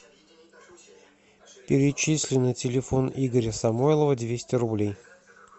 перечисли на телефон игоря самойлова двести рублей